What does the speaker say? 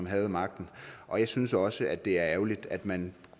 havde magten og jeg synes også at det er ærgerligt at man